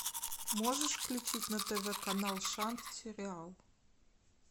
можешь включить на тв канал шанс сериал